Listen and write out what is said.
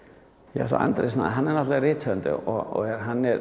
ja sko Andri Snær hann er náttúrulega rithöfundur og hann er